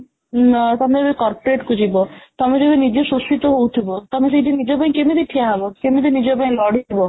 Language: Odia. ତମେ ଏବେ corporate କୁ ଯିବ ତମେ ଯେବେ ନିଜେ ଶୋଷିତ ହଉଥିବ ତମେ ସେଇଠି ନିଜପାଇଁ କେମିତି ଠିଆ ହବ କେମିତି ନିଜପାଇଁ ଲଢ଼ିବା